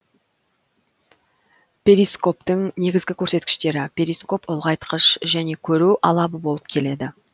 перископтың негізгі көрсеткіштері перископ ұлғайтқыш және көру алабы болып келеді